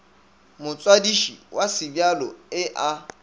motswadiši wa sebjalo e a